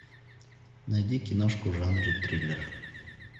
найди киношку в жанре триллер